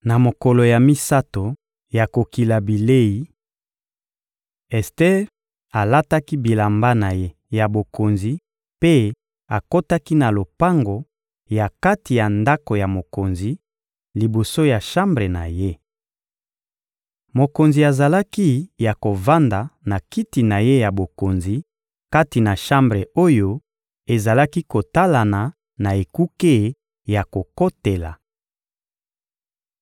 Na mokolo ya misato ya kokila bilei, Ester alataki bilamba na ye ya bokonzi mpe akotaki na lopango ya kati ya ndako ya mokonzi, liboso ya shambre na ye. Mokonzi azalaki ya kovanda na kiti na ye ya bokonzi kati na shambre oyo ezalaki kotalana na ekuke ya kokotela.